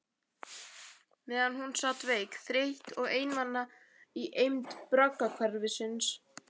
Meðan hún sat veik, þreytt og einmana í eymd braggahverfisins.